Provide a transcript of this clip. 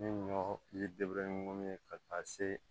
Ni ɲɔ ye munnu ye ka taa se